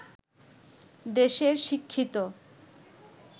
দেশের শিক্ষিত